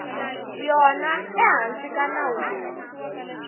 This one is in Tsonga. yona ehansi ka nawu lowu